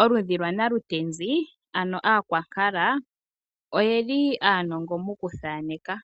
Oludhi lwanalutenzi ano aakwankala, oyeli aanongo moku thaneka.